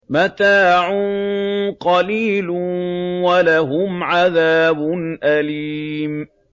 مَتَاعٌ قَلِيلٌ وَلَهُمْ عَذَابٌ أَلِيمٌ